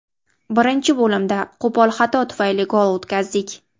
Birinchi bo‘limda qo‘pol xato tufayli gol o‘tkazdik.